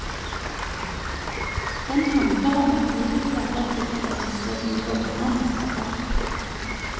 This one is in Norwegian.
Den handler om at livet klabber til deg så du våkner med et brak.